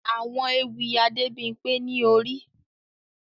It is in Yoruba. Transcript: Àwọn ewì Adebimpe ni Ori